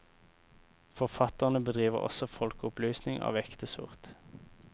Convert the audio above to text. Forfatterne bedriver også folkeopplysning av ekte sort.